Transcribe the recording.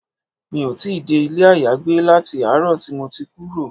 Mi ò tí dé ilé ayagbé láti àárọ̀ tí mo ti kúrò.